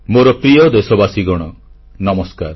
ମୋର ପ୍ରିୟ ଦେଶବାସୀଗଣ ନମସ୍କାର